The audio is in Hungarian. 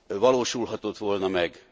valósulhatott volna meg.